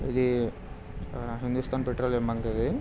ఇది హిందుస్తాన్ పెట్రోలియం బంక్ ఇది.